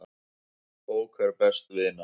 Bók er best vina.